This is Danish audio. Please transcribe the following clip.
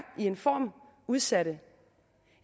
udsatte